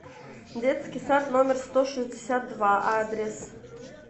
детский сад номер сто шестьдесят два адрес